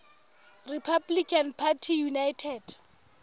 republican party united